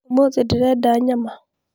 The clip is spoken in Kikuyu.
ũmũthĩ ndĩrenda nyama